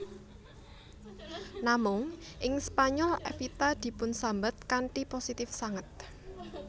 Namung ing Spanyol Evita dipunsambet kanthi positif sanget